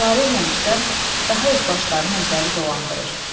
Gülarə ilə Rüstəm daha öz başlarını özləri dolandırır.